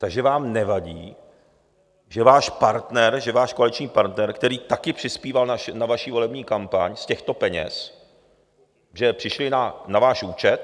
Takže vám nevadí, že váš partner, že váš koaliční partner, který také přispíval na vaši volební kampaň z těchto peněz, že přišly na váš účet...